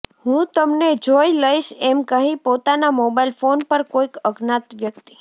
હું તમને જોઇ લઇશ એમ કહી પોતાના મોબાઇલ ફોન પર કોઇક અજ્ઞાાત વ્યક્તિ